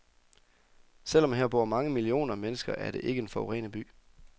Selv om her bor mange millioner mennesker er det ikke en forurenet by.